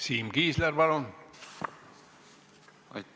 Siim Kiisler, palun!